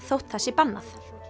þótt það sé bannað